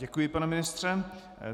Děkuji, pane ministře.